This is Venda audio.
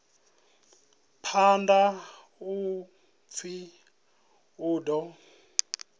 phanḓa u pfi u ḓo